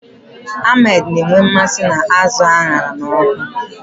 Ahmed na-enwe mmasị n'azụ a ṅara n'ọkụ